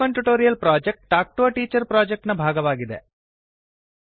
spoken tutorial project talk to a teacher project ನ ಭಾಗವಾಗಿದೆ